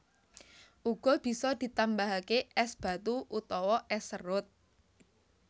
Uga bisa ditambahake es batu utawa es serut